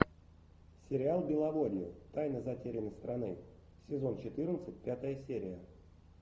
сериал беловодье тайна затерянной страны сезон четырнадцать пятая серия